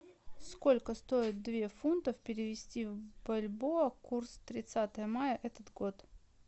сколько стоит две фунтов перевести в бальбоа курс тридцатое мая этот год